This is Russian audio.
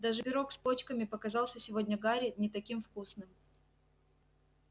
даже пирог с почками показался сегодня гарри не таким вкусным